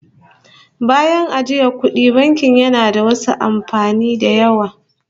Bayan ajiyan kudi, banki yana da wasu amfanin da yawa